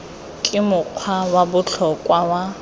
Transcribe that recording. ke mokgwa wa botlhokwa wa